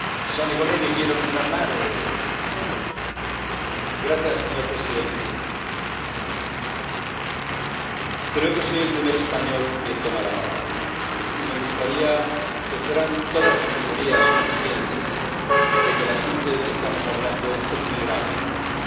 Señor presidente, creo que soy el primer español que toma la palabra, y me gustaría que fueran todas sus Señorías conscientes de que el asunto del que estamos hablando es muy grave y que no tenemos que tratarlo de una manera superficial.